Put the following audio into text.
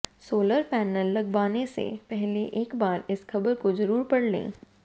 solar panel लगवाने से पहले एक बार इस खबर को जरूर पढ़ लें